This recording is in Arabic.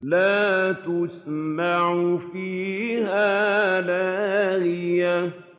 لَّا تَسْمَعُ فِيهَا لَاغِيَةً